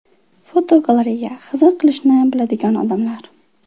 Fotogalereya: Hazil qilishni biladigan odamlar.